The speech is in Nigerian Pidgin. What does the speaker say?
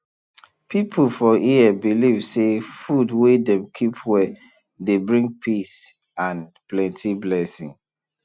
people for here believe say food wey dem keep well dey bring peace and plenty blessing